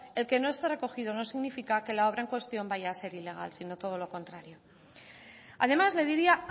el que no esté recogido no significa que la obra en cuestión vaya a ser ilegal sino todo lo contrario además le diría